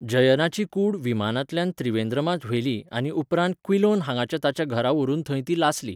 जयनाची कूड विमानांतल्यान त्रिवेंद्रमांत व्हेली आनी उपरांत क्विलोन हांगाच्या ताच्या घरा व्हरून थंय ती लासली.